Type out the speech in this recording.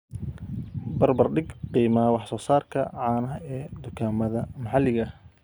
barbar dhig qiimaha wax soo saarka caanaha ee dukaamada maxaliga ah